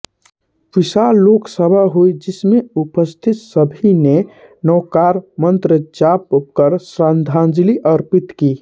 विशाल शोकसभा हुई जिस में उपस्थित सभी ने नवकारमंत्र जाप कर श्रद्धांजलि अर्पित की